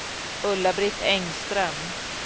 Ulla-Britt Engström